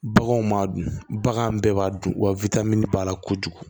Baganw m'a dun bagan bɛɛ b'a dun wa b'a la kojugu